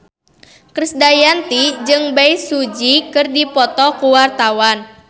Krisdayanti jeung Bae Su Ji keur dipoto ku wartawan